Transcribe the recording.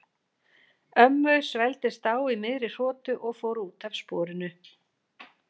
Ömmu svelgdist á í miðri hrotu og fór út af sporinu.